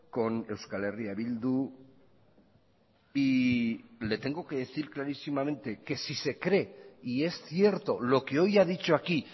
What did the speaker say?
con euskal herria bildu y le tengo que decir clarísimamente que si se cree y es cierto lo que hoy ha dicho aquí